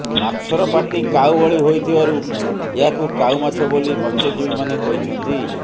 ମାଛର ପାଟି କାଉ ଭଳି ହୋଇଥିବାରୁ ଏହାକୁ କାଉ ମାଛ ବୋଲି ମତ୍ସ୍ୟଜୀବୀମାନେ କହିଛନ୍ତି